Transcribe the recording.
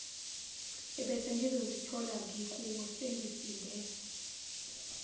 ebesengizozithola ngikuwo sengisinde